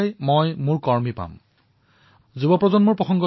তেওঁ কৈছিল মই যুৱপ্ৰজন্মক বিশ্বাস কৰো এই আধুনিক প্ৰজন্মক বিশ্বাস কৰো